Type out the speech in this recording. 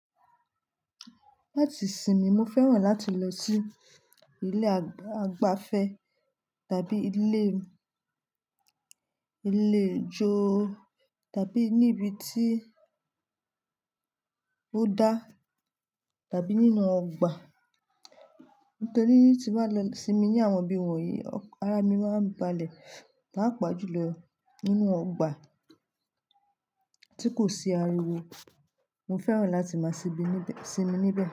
Láti sinmi, mo fẹ́ràn láti lọ sí ilé àgbàfẹ́ tàbí ilé, ilé ijó tàbí níbi tí ó dá tàbí nínú ọgbà. Nítorí tí mo bá lọ sinmi ní àwọn ibi wọ̀nyí, ara mi máa ń balẹ̀. Papa jù lọ nínú ọgbà tí kò sí ariwo. Mo fẹ́ràn láti máa sinmi níbẹ̀